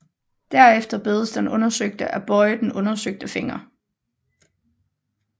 Derefter bedes den undersøgte at bøje den undersøgte finger